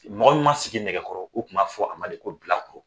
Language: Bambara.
Mɔgɔ min ma sigi nɛgɛkɔrɔ u tun b'a fɔ a ma de ko bilakoro